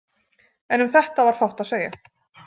En um þetta var fátt að segja.